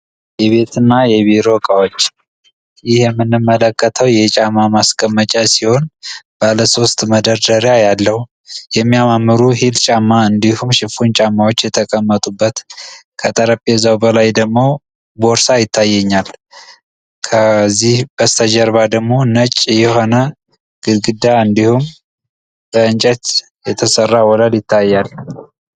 የቤት እና የቢሮ እቃዎች፤ ይህ የምንመለከተው የጫማ ማስቀመጫ ሲሆን ባለሶስት መደርደሪያ ያለው፣ የሚያማምሩ ሂል ጫማ እንዲሁም ሽፍን ጫማዎች የተቀመጡበት ከጠረጴዛው በላይ ደሞ ቦርሳ ይታየኛል። ከዚህ በስተጀርባ ደሞ ነጭ የሆነ ግድግዳ እንዲሁም ከእንጨት የተሰራ ወለል ይታያል።